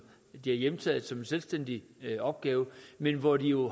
de har hjemtaget som en selvstændig opgave men hvor de jo